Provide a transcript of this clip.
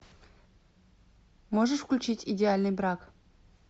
можешь включить идеальный брак